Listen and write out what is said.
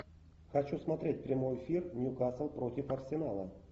хочу смотреть прямой эфир ньюкасл против арсенала